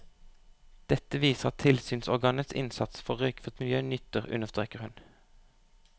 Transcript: Dette viser at tilsynsorganenes innsats for røykfritt miljø nytter, understreker hun.